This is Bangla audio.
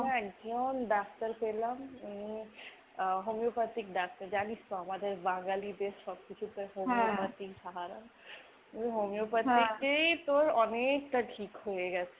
একজন ডাক্তার পেলাম উনি আহ homeopathic ডাক্তার। জানিস তো আমাদের বাঙালিদের সব কিছুতে homeopathy সাহারা, এই homeopathy তেই তোর অনেকটা ঠিক হয়েগেছে।